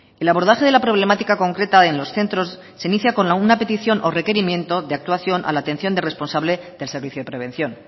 el abordaje de la problemática concreta en los centros se inicia con alguna petición o requerimiento de actuación a la atención de responsable del servicio de prevención